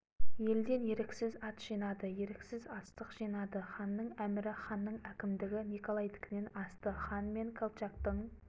елден еріксіз ат жинады еріксіз астық жинады ханның әмірі ханның әкімдігі николайдікінен асты хан мен колчактың